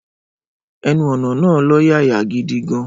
Ẹnu-ọ̀nà náà lọ́yàyà gidi gan-an.